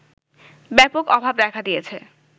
ব্যাপক অভাব দেখা দিয়েছে